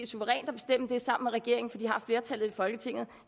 suverænt at bestemme det sammen med regeringen for de har flertallet i folketinget